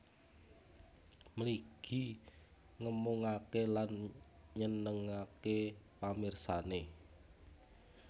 Mligi ngemungake lan nyenengake pamirsane